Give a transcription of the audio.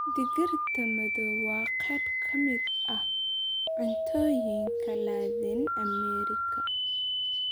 Digirta madow waa qayb ka mid ah cuntooyinka Laatiin Ameerika.